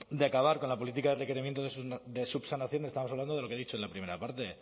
de acabar con la política de requerimientos de subsanación estamos hablando de lo que he dicho en la primera parte